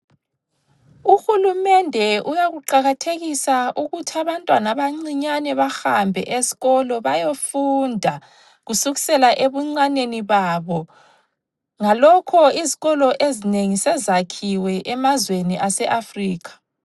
Uhulumende uyakuqakathekisa ukuthabantwana abancinyane bahambe esikolo bayefunda kusukisela ebuncaneni babo, ngalokho izikolo ezinengi sezakhiwe emazweni aseAfrica.